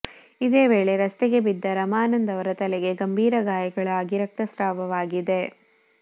ಇದೇ ವೇಳೆ ರಸ್ತೆಗೆ ಬಿದ್ದ ರಮಾನಂದ್ ಅವರ ತಲೆಗೆ ಗಂಭೀರ ಗಾಯಗಳಾಗಿ ರಕ್ತಸ್ರಾವವಾಗಿದೆ